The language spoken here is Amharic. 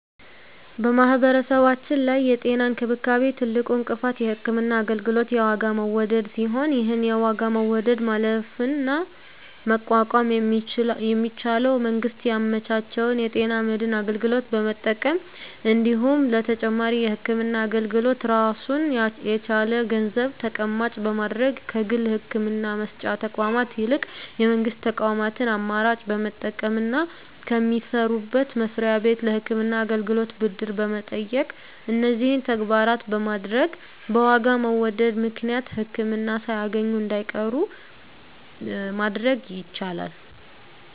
በማህበረሰባችን ላይ የጤና እንክብካቤ ትልቁ እንቅፋት የህክምና አገልግሎት የዋጋ መወደድ ሲሆን ይህን የዋጋ መወደድ ማለፍና መቋቋም የሚቻለው መንግስት ያመቻቸውን የጤና መድን አገልግሎት በመጠቀም እንዲሁም ለተጨማሪ የህክምና አገልግሎት ራሱን የቻለ ገንዘብ ተቀማጭ በማድረግ ከግል የህክምና መስጫ ተቋማት ይልቅ የመንግስት ተቋማትን አማራጭ በመጠቀምና ከሚሰሩበት መስሪያ ቤት ለህክምና አገልግሎት ብድር በመጠየቅ እነዚህን ተግባራት በማድረግ በዋጋ መወደድ ምክንያት ህክምና ሳያገኙ እንዳይቀሩ ማድረግ ይቻላል።